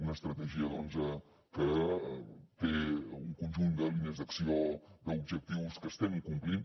una estratègia doncs que té un conjunt de línies d’acció d’objectius que estem complint